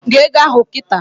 Gụọ égo ahụ nkịta!